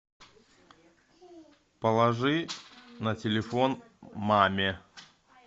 положи на телефон маме